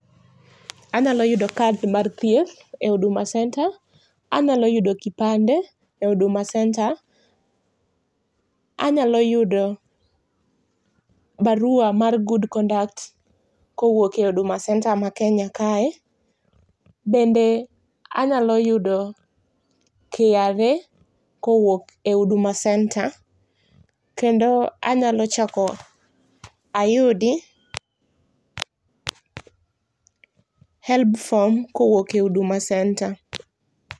Anyalo yudo kad mar thieth e Huduma Centre, anyalo yudo kipande e Huduma Centre, anyalo yudo barua mar good conduct kowuok e Huduma Centre ma Kenya kae bende anyalo yudo KRA kowuok e Huduma Centre kendo anyalo chako ayudi Helb form kowuok e Huduma Centre